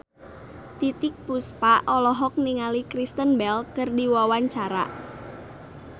Titiek Puspa olohok ningali Kristen Bell keur diwawancara